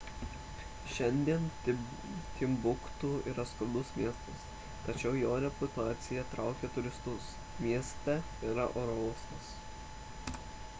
šiandien timbuktu yra skurdus miestas tačiau jo reputacija traukia turistus mieste yra oro uostas